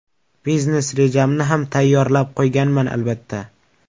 Biznes rejamni ham tayyorlab qo‘yganman, albatta.